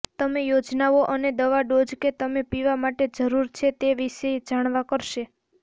તમે યોજનાઓ અને દવા ડોઝ કે તમે પીવા માટે જરૂર છે તે વિશે જાણવા કરશે